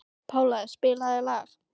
Pála, spilaðu lag.